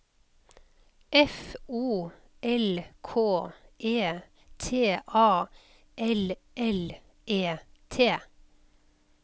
F O L K E T A L L E T